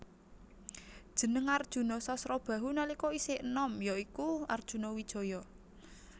Jeneng Arjuna Sasrabahu nalika isih enom ya iku Arjunawijaya